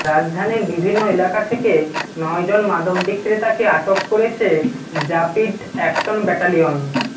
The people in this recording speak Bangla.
রাজধানীর বিভিন্ন এলাকা থেকে নয় জন মাদক বিক্রেতাকে আটক করেছে র্যাপিড অ্যাকশন ব্যাটালিয়ন